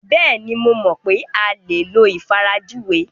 Bẹ́ẹ̀ni, mo mọ̀ pé a lè lo ìfarajúwe.